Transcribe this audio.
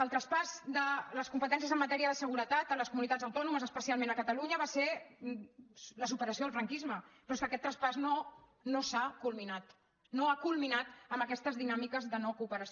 el traspàs de les competències en matèria de seguretat a les comunitats autònomes especialment a catalunya va ser la superació del franquisme però és que aquest traspàs no s’ha culminat no ha culminat amb aquestes dinàmiques de no cooperació